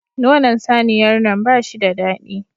Nonon saniyar nan bashi da daɗi